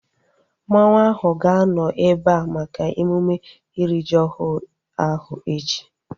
Mmanwu ahu ga-anọ ebea maka emume iri ji ọhụrụ ahu echi